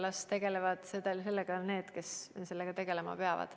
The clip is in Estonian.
Las tegelevad sellega need, kes sellega tegelema peavad.